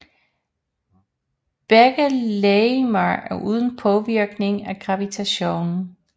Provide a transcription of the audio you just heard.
Begge legemer er uden påvirkning af gravitation